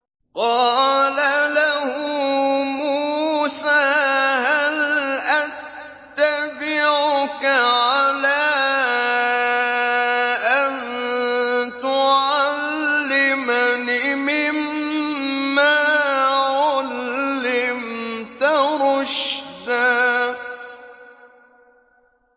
قَالَ لَهُ مُوسَىٰ هَلْ أَتَّبِعُكَ عَلَىٰ أَن تُعَلِّمَنِ مِمَّا عُلِّمْتَ رُشْدًا